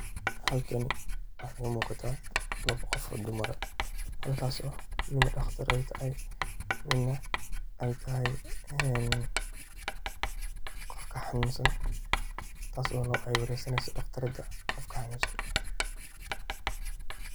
Xalkani waxa igaa muuqata lawo qof oo dumar aah, halkas oo mid ay tahay daqtar mid neh ay tahay ee qofka xanunsan, taas aay wareysanayso daqtarada qofka xanunsan.